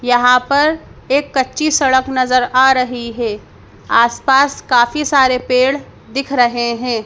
यहां पर एक कच्ची सड़क नजर आ रही है आस पास काफी सारे पेड़ दिख रहे है।